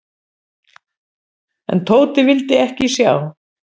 En Tóti vildi ekki sjá.